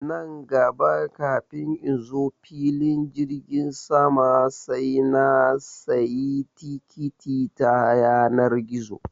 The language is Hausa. Nan gaba kafin in zo filin jirgin sama sai na sayi tikiti ta yanar gizo